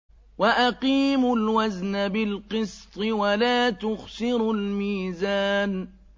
وَأَقِيمُوا الْوَزْنَ بِالْقِسْطِ وَلَا تُخْسِرُوا الْمِيزَانَ